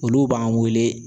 Olu b'an wele